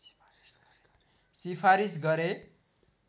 सिफारिस गरे